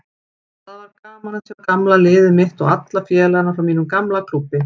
Það var gaman að sjá gamla liðið mitt og alla félagana frá mínum gamla klúbbi.